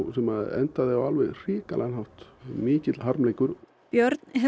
sem endaði á hrikalegan hátt mikill harmleikur björn hefur